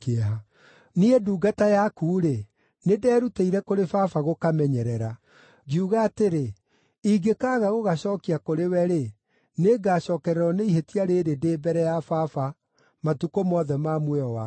Niĩ ndungata yaku-rĩ, nĩnderutĩire kũrĩ baba gũkamenyerera. Ngiuga atĩrĩ, ‘Ingĩkaaga gũgacookia kũrĩ we-rĩ, nĩngacookererwo nĩ ihĩtia rĩĩrĩ ndĩ mbere ya baba, matukũ mothe ma muoyo wakwa!’